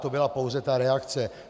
To byla pouze ta reakce.